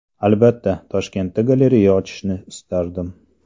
Albatta, Toshkentda galereya ochishni istardim.